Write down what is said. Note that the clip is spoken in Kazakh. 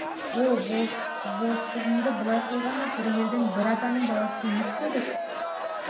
оу болыстығыңды былай қойғанда бір елдің бір атаның баласы емес пе едік